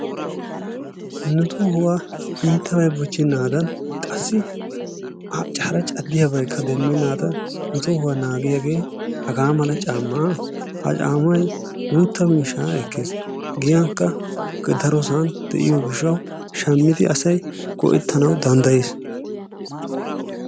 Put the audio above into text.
nu tohuwa iittabay bochchenaadan qassi hara caddiyabaykka demmenaddan nu tohuwaa naagiyaagee haga mala caammaa. ha caammay guutta miishsha ekkees. giyankka darosan de'iyo gishshaw shammidi asay go''ettanaw danddayees.